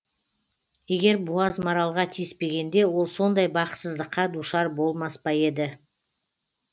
егер буаз маралға тиіспегенде ол сондай бақытсыздыққа душар болмас па еді